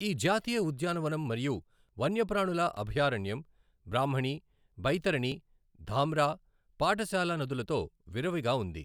ఈ జాతీయ ఉద్యానవనం మరియు వన్యప్రాణుల అభయారణ్యం బ్రాహ్మణి, బైతరణి, ధామ్రా, పాఠశాల నదులతో విరివిగా ఉంది.